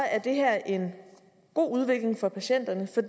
at det er en god udvikling for patienterne for